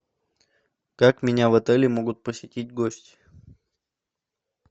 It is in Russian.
как меня в отеле могут посетить гости